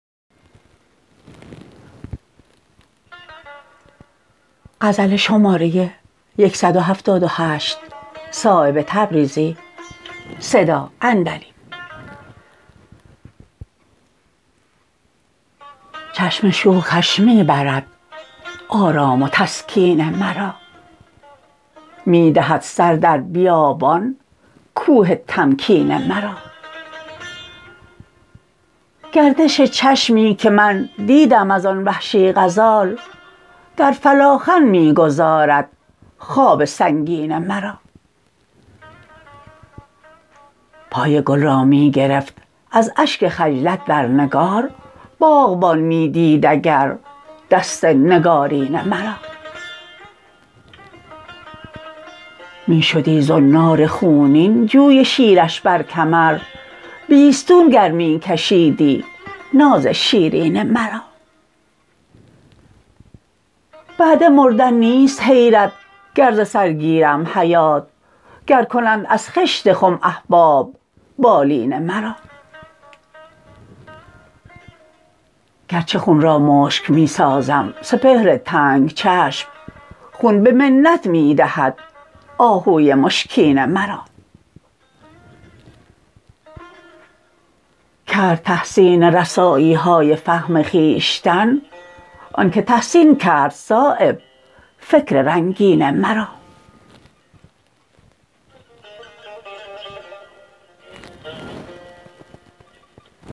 چشم شوخش می برد آرام و تسکین مرا می دهد سر در بیابان کوه تمکین مرا گردش چشمی که من دیدم ازان وحشی غزال در فلاخن می گذارد خواب سنگین مرا پای گل را می گرفت از اشک خجلت در نگار باغبان می دید اگر دست نگارین مرا می شدی زنار خونین جوی شیرش بر کمر بیستون گر می کشیدی ناز شیرین مرا بعد مردن نیست حیرت گر ز سر گیرم حیات گر کنند از خشت خم احباب بالین مرا گرچه خون را مشک می سازم سپهر تنگ چشم خون به منت می دهد آهوی مشکین مرا کرد تحسین رسایی های فهم خویشتن آن که تحسین کرد صایب فکر رنگین مرا